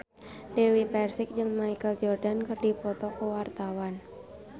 Dewi Persik jeung Michael Jordan keur dipoto ku wartawan